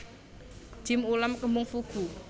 Jjim ulam kembung fugu